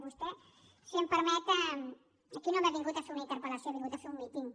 vostè si em permet aquí no m’ha vingut a fer una interpel·lació ha vingut a fer un míting